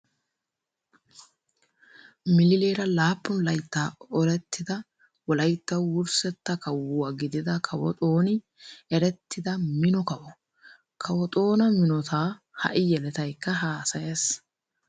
Milileera laappun layttaa olettida Wolayttawu wurssetta kawuwaa gidida Kawo Xooni erettida mino kawo . Kawo Xoona minotaa ha'i yeletaykka haasayees.